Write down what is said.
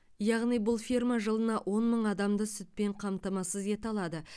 яғни бұл ферма жылына он мың адамды сүтпен қамтамасыз ете алады